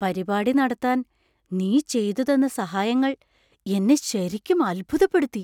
പരിപാടി നടത്താൻ നീ ചെയ്തുതന്ന സഹായങ്ങൾ എന്നെ ശരിക്കും അത്ഭുതപ്പെടുത്തി!